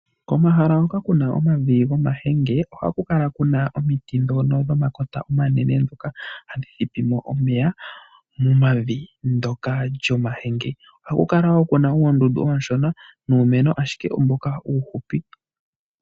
Komahala hoka kuna omavi gomahenge ohakukala kuna omiti ndhono dho makota omanene ndhoka hashi thipimo omeya momavi ndjoka lyo mahenge. Ohakukala woo kuna uundundu oonshona nuumeno ashike mboka uuhupi .